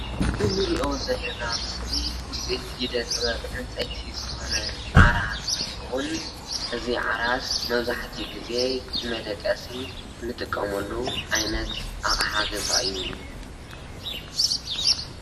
እንርእዮ ዘለና ምስሊ ውጽኢት ኢደ ጥበብ ዕንጸይቲ ዝኾነ ዓራት እንትኸውን እዚ ዓራት መብዛሕትኡ ግዜ ንመደቀሲ ንጥቀመሉ ዓይነት ኣቕሓ ገዛ እዩ።